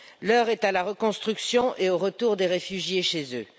L'heure est à la reconstruction et au retour des réfugiés chez eux.